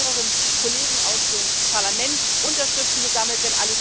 Ich habe mit mehreren Kollegen aus dem Parlament Unterschriften gesammelt.